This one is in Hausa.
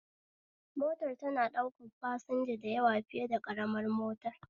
Motar tana ɗaukan fasanja da yawa fiye da ƙaramar motar